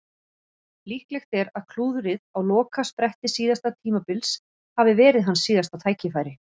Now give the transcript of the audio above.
Líklegt er að klúðrið á lokaspretti síðasta tímabils hafi verið hans síðasta tækifæri.